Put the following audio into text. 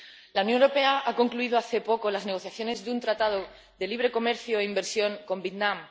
La Unión Europea ha concluido hace poco las negociaciones de un tratado de libre comercio e inversión con Vietnam.